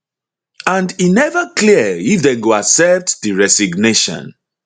and e neva clear if dem go accept di resignation